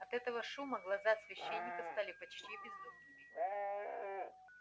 от этого шума глаза священника стали почти безумными